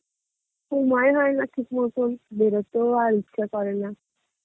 সময় হয়না ঠিক মতন বেরোতেও আর ইচ্ছা করে না